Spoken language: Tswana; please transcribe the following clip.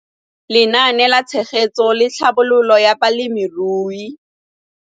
Lenaane la Tshegetso le Tlhabololo ya Balemirui